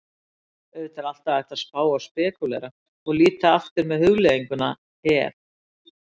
Auðvitað er alltaf hægt að spá og spekúlera, og líta aftur með hugleiðinguna ef?